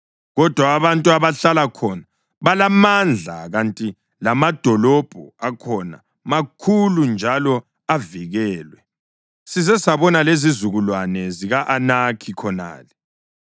Kodwa abantu abahlala khona balamandla kanti lamadolobho akhona makhulu njalo avikelwe. Size sabona lezizukulwane zika-Anakhi khonale.